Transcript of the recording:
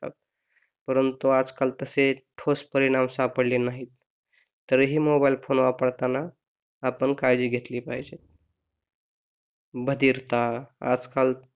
परंतु आज आजकाल तसे ठोस परिणाम सापडले नाही, तरीही मोनोबेल फोन वापरताना आपण काळजी घेतली पाहिजे बधीरता आजकाल,